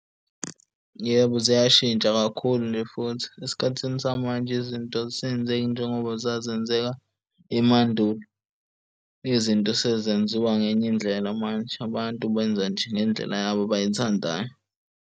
Yebo, ziyashintsha kakhulu nje futhi. Esikhathini samanje, izinto azisenzeki njengoba zazenzeka emandulo izinto sezenziwa ngenye indlela manje. Abantu benza nje ngendlela yabo abayithandayo.